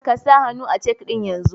Kasa hannu a cek ɗin yanzu!